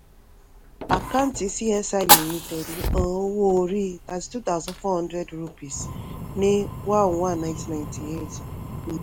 àkáǹtì csi limited hàn owó orí thirty-two thousand four hundred rupees ní one one ninety ninety-eight um